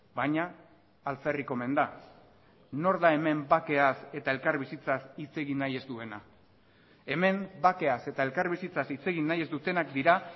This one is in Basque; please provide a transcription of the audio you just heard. baina alferrik omen da nor da hemen bakeaz eta elkarbizitzaz hitz egin nahi ez duena hemen bakeaz eta elkarbizitzaz hitz egin nahi ez dutenak dira